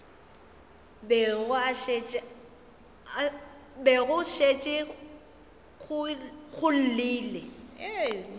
be go šetše go llile